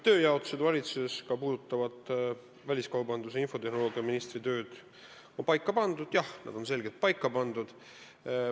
Küsimus, kas valitsuse tööjaotus, ka puudutavalt väliskaubandus- ja infotehnoloogiaministri tööd, on paika pandud: jah, on selgelt paika pandud.